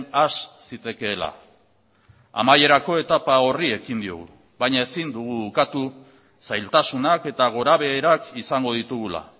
has zitekeela amaierako etapa horri ekin diogu baina ezin dugu ukatu zailtasunak eta gorabeherak izango ditugula